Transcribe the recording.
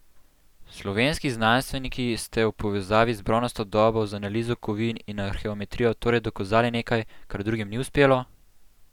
Slovenski znanstveniki ste v povezavi z bronasto dobo z analizo kovin in arheometrijo torej dokazali nekaj, kar drugim ni uspelo?